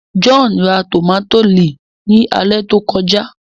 John rà tomati lẹẹ ní alẹ tó kọjá